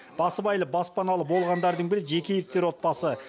басыбайлы баспаналы болғандардың бірі жекеевтер отбасы